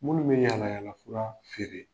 Minnu bɛ yalayala fura feere